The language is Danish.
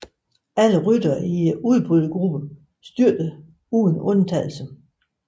Alle ryttere i udbrydergruppen styrtede uden undtagelse